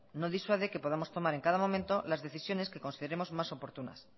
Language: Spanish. no disuade que podamos tomar en cada momento las decisiones que consideremos más oportunas